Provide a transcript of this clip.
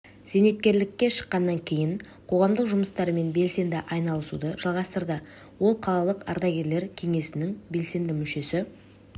зейнеткерлікке шыққаннан кейін қоғамдық жұмыстармен белсенді айналысуды жалғастырды ол қалалық ардагерлер кеңесінің белсенді мүшесі